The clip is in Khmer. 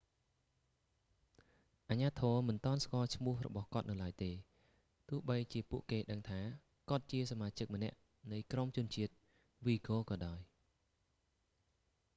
អាជ្ញាធរមិនទាន់ស្គាល់ឈ្មោះរបស់គាត់នៅឡើយទេ ទោះបីជាពួកគេដឹងថា គាត់ជាសមាជិកម្នាក់នៃក្រុមជនជាតិវីហ្គ័រក៏ដោយ